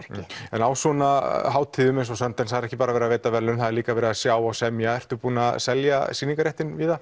á svona hátíðum eins og Sundance er ekki bara verið að veita verðlaun það er líka verið að sjá og semja ert þú búin að selja sýningarréttinn víða